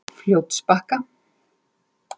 Fljótsbakka